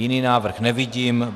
Jiný návrh nevidím.